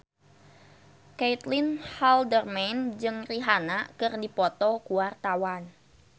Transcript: Caitlin Halderman jeung Rihanna keur dipoto ku wartawan